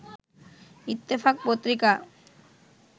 Ittefaq Patrika